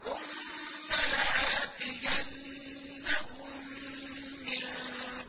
ثُمَّ لَآتِيَنَّهُم مِّن